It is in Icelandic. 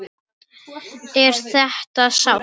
Er þetta sárt?